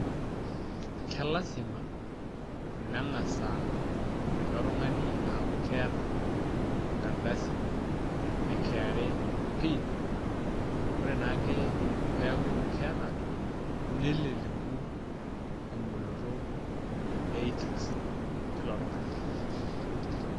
kelasima nengas aa ilo tungani, aaku keeta enkardasi e kra pin, ore naake peeku keeta neleleku eboloto, ei itax teilo tungani.